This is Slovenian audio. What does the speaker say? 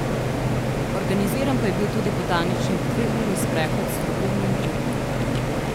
Organiziran pa je bil tudi Botanični dveurni sprehod s strokovnim vodenjem.